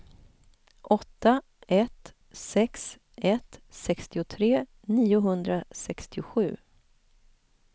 åtta ett sex ett sextiotre niohundrasextiosju